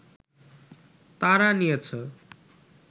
তারা নিয়েছে